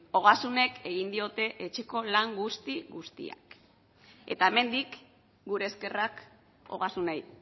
ogasunek egin diote etxeko lan guzti guztiak eta hemendik gure eskerrak ogasunei